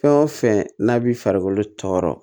Fɛn o fɛn n'a b'i farikolo tɔɔrɔ